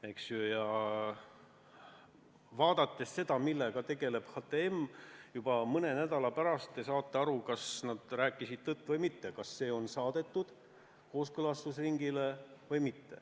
Ja mis puutub sellesse, millega HTM tegeleb, siis juba mõne nädala pärast te näete, kas nad rääkisid tõtt või mitte, kas see on saadetud kooskõlastusringile või mitte.